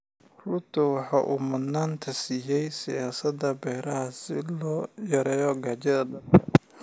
Ruto waxa uu mudnaanta siiyay siyaasadaha beeraha si loo yareeyo gaajada dalka.